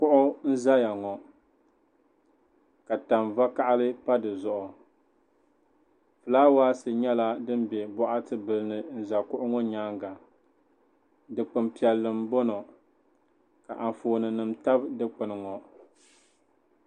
Kuɣu n-zaya ŋɔ ka tani vakahili pa di zuɣu fulaawaasi nyɛla din be bokati bila ni n-za kuɣu ŋɔ nyaaŋa dukpuni piɛlli m-bɔŋɔ ka anfooninima tabi dukpuni ŋɔ.